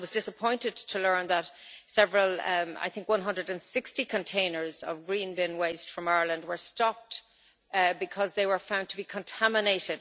I was disappointed to learn that several I think 160 containers of green bin waste from Ireland were stopped because they were found to be contaminated.